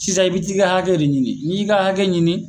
Sisan i bi t'i ka hakɛ de ɲini, n'i y'i ka hakɛ ɲini